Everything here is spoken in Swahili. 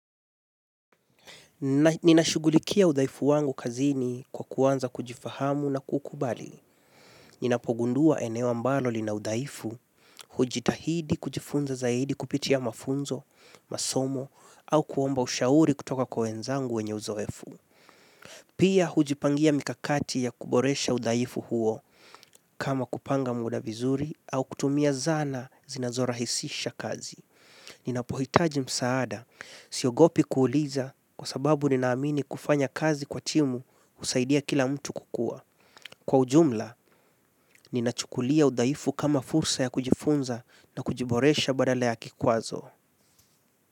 Ninashugulikia udhaifu wangu kazini kwa kuanza kujifahamu na kukubali. Ninapogundua eneo ambalo lina udhaifu, hujitahidi kujifunza zaidi kupitia mafunzo, masomo, au kuomba ushauri kutoka kwa wenzangu wenye uzoefu. Pia hujipangia mikakati ya kuboresha udaifu huo kama kupanga muda vizuri au kutumia zana zinazorahisisha kazi. Ninapohitaji msaada, siogopi kuuliza kwa sababu ninaamini kufanya kazi kwa timu husaidia kila mtu kukua. Kwa ujumla, ninachukulia udhaifu kama fursa ya kujifunza na kujiboresha badala ya kikwazo.